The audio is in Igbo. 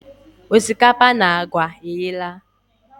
Osikapa na agwa eyela.